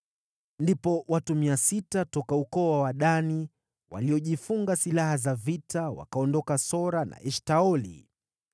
Ndipo watu 600 toka ukoo wa Wadani, waliojifunga silaha za vita, wakaondoka Sora na Eshtaoli.